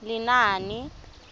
lenaane